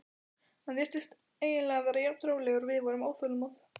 Hann virtist eiginlega vera jafn rólegur og við vorum óþolinmóð.